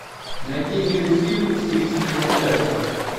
найди милый фильм в стилистике мультяшки